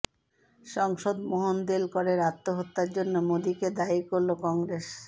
সাংসদ মোহন দেলকরের আত্মহত্যার জন্য মোদিকে দায়ী করল কংগ্রেস